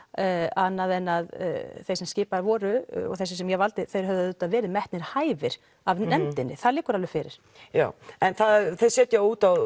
annað en að þeir sem skipaðir voru og þessir sem ég valdi þeir hefðu auðvitað verið metnir hæfir af nefndinni það liggur alveg fyrir já en þeir setja út á